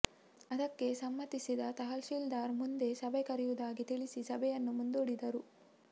ಅದಕ್ಕೆ ಸಮ್ಮತಿಸಿದ ತಹಶೀಲ್ದಾರ್ ಮುಂದೆ ಸಭೆ ಕರೆಯುವುದಾಗಿ ತಿಳಿಸಿ ಸಭೆಯನ್ನು ಮುಂದೂಡಿದರು